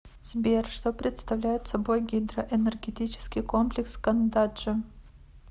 сбер что представляет собой гидроэнергетический комплекс кандаджи